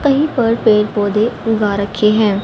कहीं पर पेड़ पौधे उगा रखे हैं।